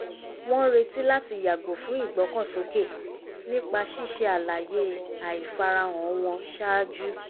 wọ́n retí láti yàgò fún ìgbọ́kànsókè nípa ṣíṣe àlàyé àìfarahàn wọn ṣáájú